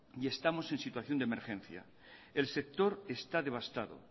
y estamos en situación de emergencia el sector está devastado